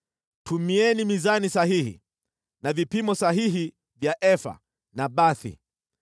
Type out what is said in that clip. Tumieni mizani sahihi na vipimo sahihi vya efa na bathi.